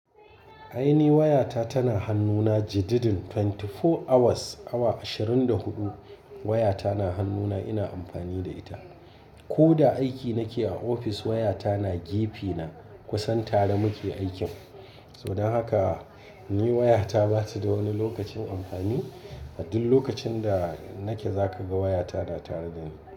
Ai ni wayata tana hannuna jididdin twenty four hours, awa ashirin da huɗu wayata na hannuna ina amfani da ita. Ko da aiki nake a ofis wayata na gefe na kusan tare muke aikin. Toh dan haka ni wayata ba ta da wani lokacin amfani. A duk lokacin da nake za ka ga wayata na tare da ni.